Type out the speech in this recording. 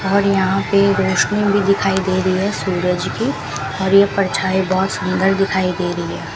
और यहां पे रोशनी भी दिखाई दे रही है सूरज की और ये परछाई बहोत सुंदर दिखाई दे रही है।